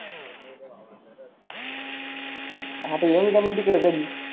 आता येईन का मग तीकड कधी